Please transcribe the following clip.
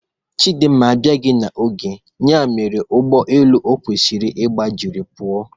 Chidimma abiaghi na oge ya mere Ụgbọ elu okwesiri ịgba jiri puo